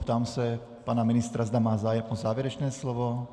Ptám se pana ministra, zda má zájem o závěrečné slovo.